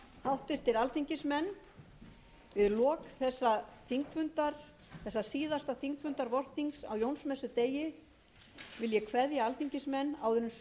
háttvirtir alþingismenn við lok þessa síðasta þingfundar vorþings á jónsmessudegi vil ég kveðja alþingismenn áður en sumarhlé